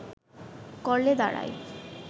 করলে দাঁড়ায়